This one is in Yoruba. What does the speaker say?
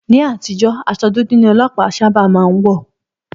Ní àtijọ́, aṣọ dúdú ni Ọlọpa má ń sábà wọ̀